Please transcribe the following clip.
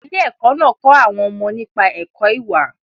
Ilé-ẹkọ́ náà kọ́ àwọn ọmọ nípa ẹ̀kọ́ ìwà.